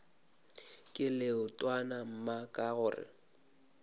ke leetwana mma ka gore